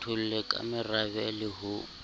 kgetholle ka morabe le ho